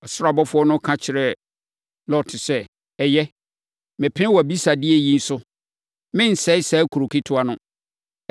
Ɔsoro abɔfoɔ no ka kyerɛɛ Lot sɛ, “Ɛyɛ, mepene wʼabisadeɛ yi so; merensɛe saa kuro ketewa no.